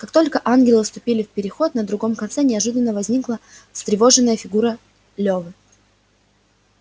как только ангелы вступили в переход на другом конце неожиданно возникла встревоженная фигура лёвы